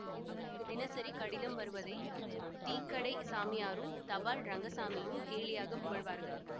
அவருக்கு தினசரி கடிதம் வருவதை டீக்கடைச் சாமியாரும் தபால் ரங்கசாமியும் கேலியாகப் புகழ்வார்கள்